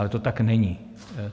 Ale to tak není.